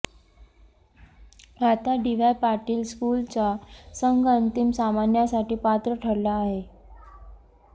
आता डीवाय पाटील स्कूलचा संघ अंतिम सामन्यासाठी पात्र ठरला आहे